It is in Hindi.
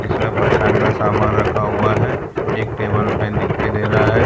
इसमें का सामान रखा हुआ है एक टेबल फैन दिखाई दे रहा है।